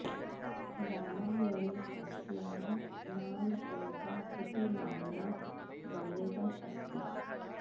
रामायणे अस्याः नाम पम्पा इति नाम्ना वर्णितम् अस्ति